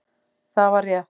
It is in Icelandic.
Það var rétt